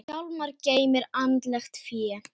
Hjálmar geymir andlegt fé.